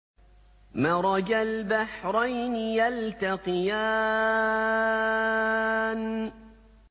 مَرَجَ الْبَحْرَيْنِ يَلْتَقِيَانِ